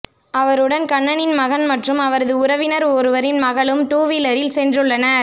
அவருடன் கண்ணனின் மகன் மற்றும் அவரது உறவினர் ஒருவரின் மகளும் டூவீலரில் சென்றுள்ளனர்